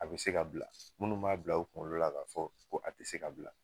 A be se ka bila munnu b'a bila u kunkolo la k'a fɔ ko a te se ka bila